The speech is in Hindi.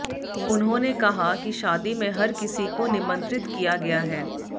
उन्होंने कहा कि शादी में हर किसी को निमंत्रित किया गया है